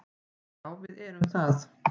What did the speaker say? Já, við erum það.